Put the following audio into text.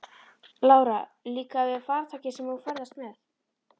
Lára: Líkar þér við farartækið sem þú ferðast með?